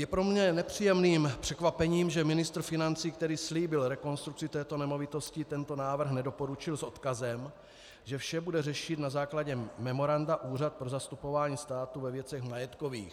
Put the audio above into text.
Je pro mě nepříjemným překvapením, že ministr financí, který slíbil rekonstrukci této nemovitosti, tento návrh nedoporučil s odkazem, že vše bude řešit na základě memoranda Úřad pro zastupování státu ve věcech majetkových.